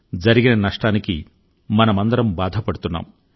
జరిగిన నష్టానికి మనమందరం బాధపడుతున్నాం